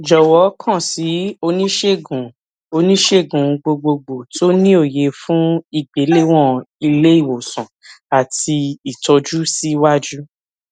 jọwọ kàn sí oniṣegun sí oniṣegun gbogbogbò tó ni òye fun igbelewọn ileiwosan ati itọju siwaju